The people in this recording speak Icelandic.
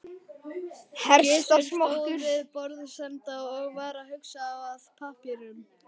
Gizur stóð við borðsenda og var að huga að pappírum.